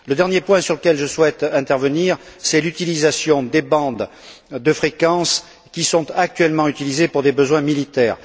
Le dernier point sur lequel je souhaite intervenir concerne l'utilisation des bandes de fréquences qui sont actuellement utilisées pour des besoins militaires.